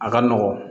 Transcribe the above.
A ka nɔgɔn